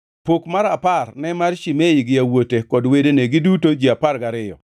Pok mar apar ne mar Shimei gi yawuote kod wedene, giduto ji apar gariyo,